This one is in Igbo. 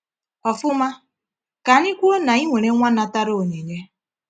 Ọfụma, ka anyị kwuo na ị nwere nwa natara onyinye.